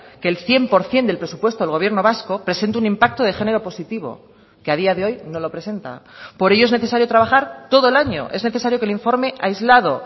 que el cien por ciento del presupuesto del gobierno vasco presente un impacto de género positivo que a día de hoy no lo presenta por ello es necesario trabajar todo el año es necesario que el informe aislado